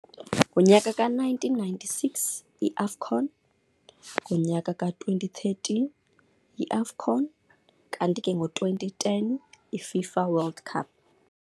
Ngonyaka ka-nineteen ninety-six iAFCON, ngonyaka ka-twenty thirteen i-AFCON, kanti ke ngo-twenty ten iFIFA World Cup.